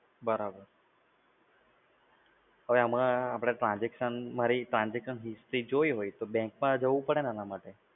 બરાબર, હવે આમાં આપડે transaction મારી ટ્રાન્જેક્શન હિસ્ટ્રી જોવી હોય, તો bank માં જવું પડે ને એના માટે?